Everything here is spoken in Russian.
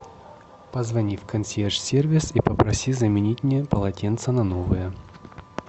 позвони в консьерж сервис и попроси заменить мне полотенце на новое